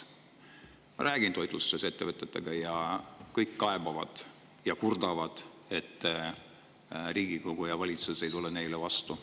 Ma olen rääkinud toitlustettevõtjatega, nad kõik kaebavad ja kurdavad, et Riigikogu ja valitsus ei tule neile vastu.